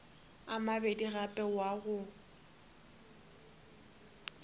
a mabedi gape wa go